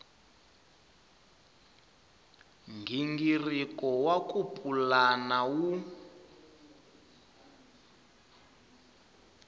nghingiriko wa ku pulana wu